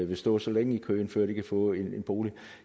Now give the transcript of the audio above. vil stå så længe i køen før de kan få en bolig